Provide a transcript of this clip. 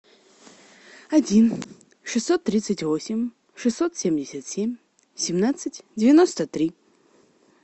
один шестьсот тридцать восемь шестьсот семьдесят семь семнадцать девяносто три